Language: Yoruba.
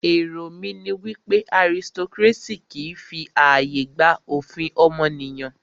Èrò mí ní wípé autocracy kìí fi ààyè gba òfin ọmọnìyàn.